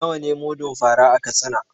Nawa ne mudun fa ra a Katsina?